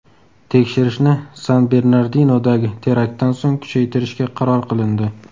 Tekshirishni San-Bernardinodagi teraktdan so‘ng kuchaytirishga qaror qilindi.